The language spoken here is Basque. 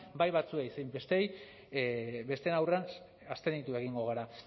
bai batzuen zein besteen aurrean abstenitu egingo gara